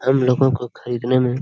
हम लोगों को खरीदने में--